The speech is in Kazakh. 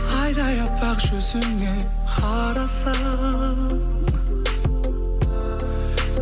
айдай аппақ жүзіңе қарасам